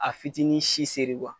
A fitiinin si seri .